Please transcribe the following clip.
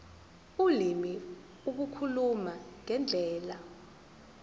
ulimi ukukhuluma ngendlela